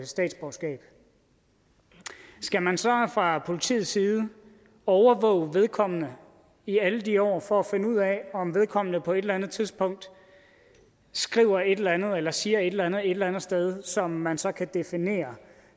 statsborgerskab skal man så fra politiets side overvåge vedkommende i alle de år for at finde ud af om vedkommende på et eller andet tidspunkt skriver et eller andet eller siger et eller andet et eller andet sted som man så kan definere